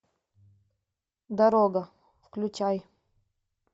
дорога включай